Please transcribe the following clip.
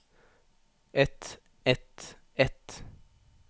ett ett ett